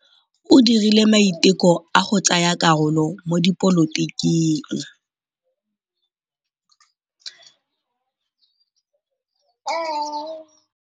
O dirile maitekô a go tsaya karolo mo dipolotiking.